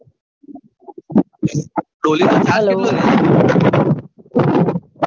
ડોલીનો charge કેટલો લે છે